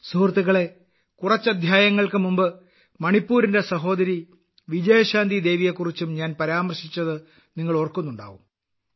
സുഹൃത്തുക്കളേ കുറച്ച് അദ്ധ്യായങ്ങൾക്ക് മുമ്പ് മണിപ്പൂരിന്റെ സഹോദരി വിജയശാന്തി ദേവിയെക്കുറിച്ചും ഞാൻ പരാമർശിച്ചത് നിങ്ങൾ ഓർക്കുന്നുണ്ടാകും